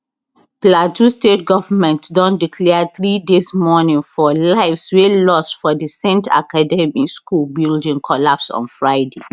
plateau state government don declare three days mourning for lives wey lost for di saint academy school building collapse on friday